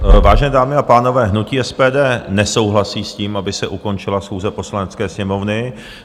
Vážené dámy a pánové, hnutí SPD nesouhlasí s tím, aby se ukončila schůze Poslanecké sněmovny.